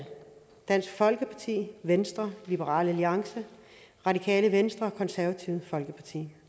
dansk folkeparti venstre liberal alliance radikale venstre og det konservative folkeparti